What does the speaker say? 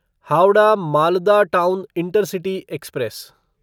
Howrah Malda town intercity express